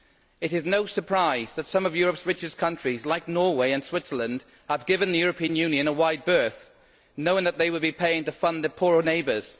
It is no surprise that some of Europe's richest countries like Norway and Switzerland have given the European Union a wide berth, knowing that they would be paying to fund their poorer neighbours.